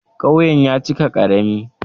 Ƙauyen ya cika ƙarami.